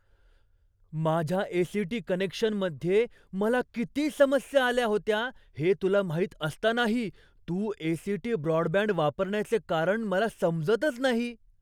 माझ्या ए.सी.टी. कनेक्शनमध्ये मला किती समस्या आल्या होत्या हे तुला माहीत असतानाही तू ए.सी.टी. ब्रॉडबँड वापरण्याचे कारण मला समजतच नाही.